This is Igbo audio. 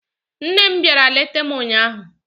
Nne m bịara leta m ụnyaahụ